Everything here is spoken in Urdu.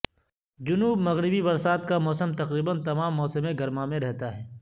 جنوب مغربی برسات کا موسم تقریبا تمام موسم گرما میں رہتا ہے